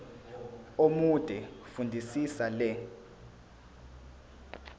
omude fundisisa le